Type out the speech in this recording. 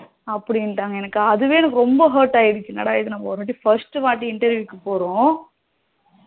அப்படிந்டாங்க அதுவே எனக்கு அதுவே ரொம்ப hurt ஆகிடுச்சி என்னடா இது நம்ம ஒரு first வாட்டி interview க்கு போறோம்